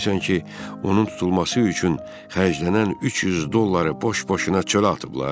Elə bilirsən ki, onun tutulması üçün xərclənən 300 dolları boş-boşuna çölə atıblar?